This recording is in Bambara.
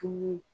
Tun ye